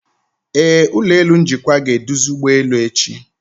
Ee, ụlọ elu njikwa ga-eduzi ụgbọelu echi.